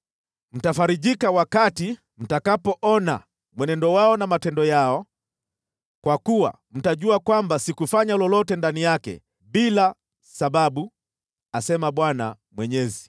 Mtafarijika wakati mtakapoona mwenendo wao na matendo yao, kwa kuwa mtajua kwamba sikufanya lolote ndani yake bila sababu, asema Bwana Mwenyezi.”